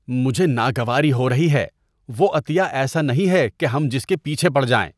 مجھے ناگواری ہو رہی ہے! وہ عطیہ ایسا نہیں ہے کہ ہم جس کے پیچھے پڑ جائیں۔